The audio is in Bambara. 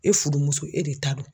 E fudumuso e de ta don.